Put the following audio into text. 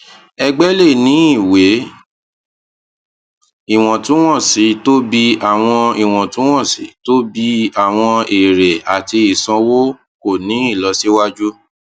ẹgbẹ lè ní ìwé ìwọntúnwọnsí tóbi àwọn ìwọntúnwọnsí tóbi àwọn èrè àti ìsanwó kò ní ìlọsíwájú